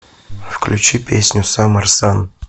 включи песню саммер сан